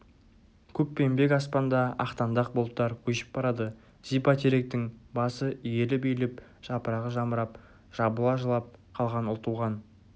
көкпеңбек аспанда ақтаңдақ бұлттар көшіп барады зипа теректің басы иіліп-иіліп жапырағы жамырап жабыла жылап қалған ұлтуған